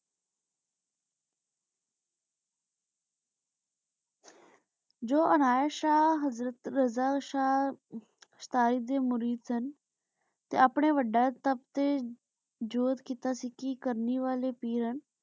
ਜੋ ਅਨਾਯਤ ਸ਼ਾਹ ਹਜਰਤ ਰਾਜਾ ਸ਼ਾਹ ਸਤੀ ਦੇ ਮੁਰੀਦ ਸਨ ਤੇ ਅਪਨੇ ਟਾਪ ਤੇ ਜੋਤ ਕੀਤਾ ਸੀ ਕੀ ਕਰਨੀ ਵਾਲੇ ਪੀਰ ਸਨ